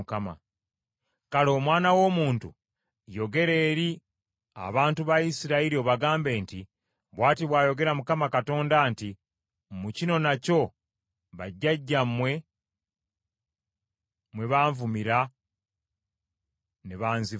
“Kale omwana w’omuntu, yogera eri abantu ba Isirayiri obagambe nti, ‘Bw’ati bw’ayogera Mukama Katonda nti: mu kino nakyo bajjajjammwe mwe banvumira ne banzivoola.